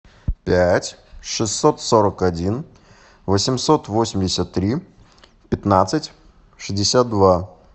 пять шестьсот сорок один восемьсот восемьдесят три пятнадцать шестьдесят два